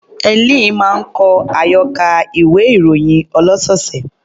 Helen máa ń kọ àyọkà ìwé-ìròyìn ọlọ́sọ̀ọ̀sẹ̀.